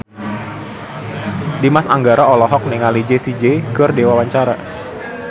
Dimas Anggara olohok ningali Jessie J keur diwawancara